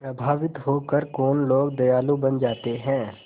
प्रभावित होकर कौन लोग दयालु बन जाते हैं